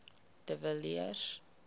de villiers